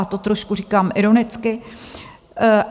A to "trošku" říkám ironicky.